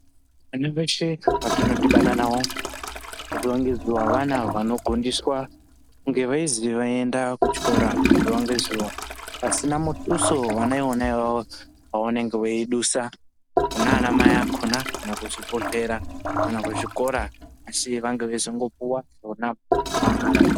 Vana veshe vatinodhibana nawo zuwa ngezuwa vana vanogondiswa kunge veizwi vaenda kuchikora zuwa ngezuwa. Pasina muduso vana ivona avawo wavanonga veidusa kuna anamai akhona kana kuzvibhedhlera, kana kuchikora asi vange veizongopuwa vona mahara.